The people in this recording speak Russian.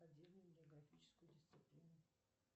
отдельную географическую дисциплину